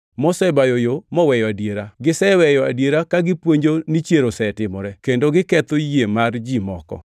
mosebayo yo moweyo adiera. Giseweyo adiera ka gipuonjo ni chier osetimore, kendo giketho yie mar ji moko.